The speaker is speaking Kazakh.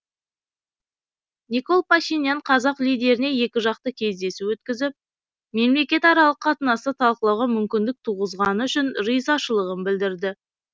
никол пашинян қазақ лидеріне екіжақты кездесу өткізіп мемлекетаралық қатынасты талқылауға мүмкіндік туғызғаны үшін ризашылығын білдірді